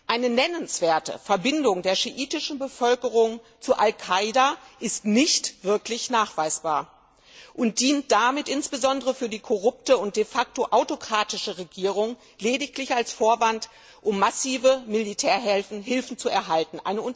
Eine nennenswerte Verbindung der schiitischen Bevölkerung zu al Qaida ist nicht wirklich nachweisbar und dient damit insbesondere der korrupten und de facto autokratischen Regierung lediglich als Vorwand, um massive Militärhilfen zu erhalten.